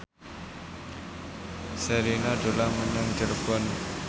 Sherina dolan menyang Cirebon